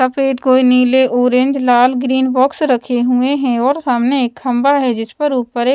सफेद कोई नीले ऑरेंज लाल ग्रीन बॉक्स रखे हुए हैं और सामने एक खंभा है जिस पर ऊपर एक--